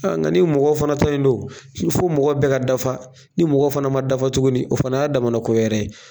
Nka ni mɔgɔ fana ta in don fo mɔgɔ bɛɛ ka dafa ni mɔgɔ fana ma dafa tuguni o fana y'a damana ko wɛrɛ ye